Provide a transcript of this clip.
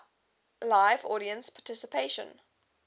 live audience participation